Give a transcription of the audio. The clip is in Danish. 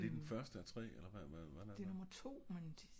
er det den første af tre eller eller hvordan